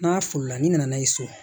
N'a foli la ni nana n'a ye so